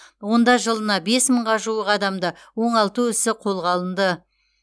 онда жылына бес мыңға жуық адамды оңалту ісі қолға алынды